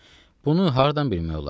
Bunu hardan bilmək olar?